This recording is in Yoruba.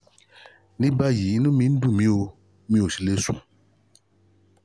ní báyìí inú mi ò dùn mi ò mi ò sì le sùn